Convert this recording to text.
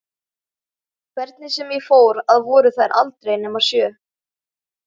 Hvernig sem ég fór að voru þær aldrei nema sjö.